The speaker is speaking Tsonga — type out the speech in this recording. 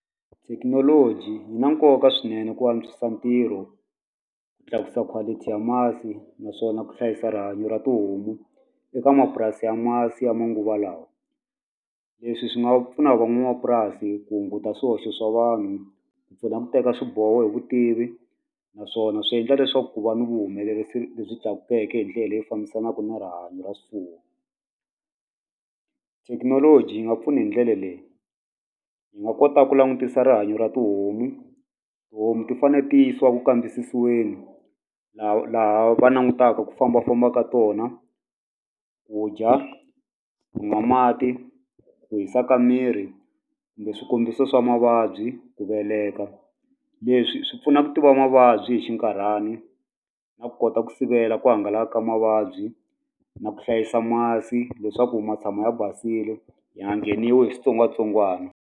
Thekinoloji yi na nkoka swinene ku antswisa ntirho ku tlakusa quality ya masi naswona ku hlayisa rihanyo ra tihomu eka mapurasi ya masi ya manguva lawa leswi swi nga pfuna van'wamapurasi ku hunguta swihoxo swa vanhu ku pfuna ku teka swiboho hi vutivi naswona swi endla leswaku ku va ni vuhumelerisi lebyi tlakukeke hindlela leyi fambisanaka na rihanyo ra swifuwo thekinoloji yi nga pfuni hi ndlela leyi yi nga kota ku langutisa rihanyo ra tihomu tihomu ti fane ti yisiwa ku kambisisiweni laha va langutaka ku fambafamba ka tona ku dya ku nwa mati ku hisa ka miri kumbe swikombiso swa mavabyi ku veleka leswi swi pfuna ku tiva mavabyi swi hi xinkarhani na ku kota ku sivela ku hangalaka ka mavabyi na ku hlayisa masi leswaku ma tshama ya basini ya nga ngheniwi hi switsongwatsongwana.